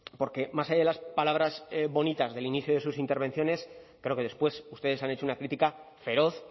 porque más allá de las palabras bonitas del inicio de sus intervenciones creo que después ustedes han hecho una crítica feroz